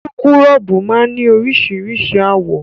Súkúrọ́bù máa ní oríṣiríṣi àwọ̀.